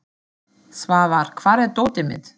Svafar, hvar er dótið mitt?